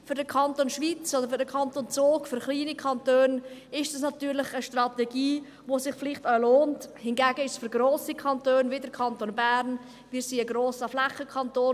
Für den Kanton Schwyz oder für den Kanton Zug – für kleine Kantone – ist dies natürlich eine Strategie, die sich vielleicht auch lohnt, hingegen für grosse Kantone wie den Kanton Bern ist es … Wir sind ein grosser Flächenkanton.